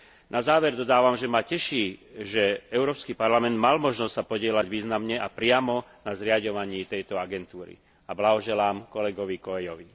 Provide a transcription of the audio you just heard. Na záver dodávam, že ma teší, že Európsky parlament mal možnosť sa podieľať významne a priamo na zriaďovaní tejto agentúry, a blahoželám kolegovi Coelhovi.